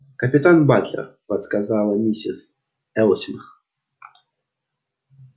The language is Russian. капитан батлер подсказала миссис элсинг